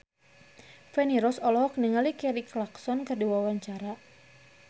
Feni Rose olohok ningali Kelly Clarkson keur diwawancara